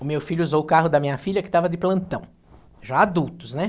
O meu filho usou o carro da minha filha, que estava de plantão, já adultos, né?